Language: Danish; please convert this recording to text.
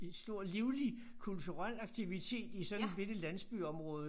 Stor livlig kulturel aktivitet i sådan bitte landsbyområde